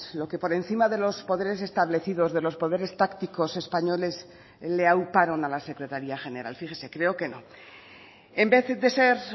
lo que por encima de los poderes establecidos de los poderes tácticos españoles le auparon a la secretaría general fíjese creo que no en vez de ser